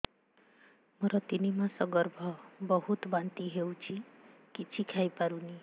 ମୋର ତିନି ମାସ ଗର୍ଭ ବହୁତ ବାନ୍ତି ହେଉଛି କିଛି ଖାଇ ପାରୁନି